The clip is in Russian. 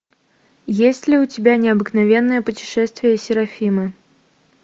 есть ли у тебя необыкновенное путешествие серафимы